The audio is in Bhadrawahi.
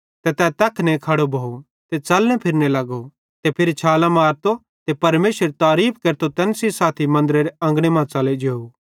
ते तै तैखने खड़ो भोव ते च़लने फिरने लगो ते फिरी छालां मारतो ते परमेशरेरी तारीफ़ केरतो तैन सेइं साथी मन्दरेरे अंगने मां च़लो जेव